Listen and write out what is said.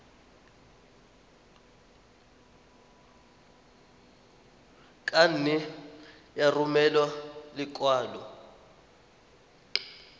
ka nne ya romela lekwalo